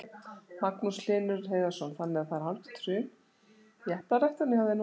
Magnús Hlynur Hreiðarsson: Þannig að það er hálfgert hrun í eplaræktuninni hjá þér núna?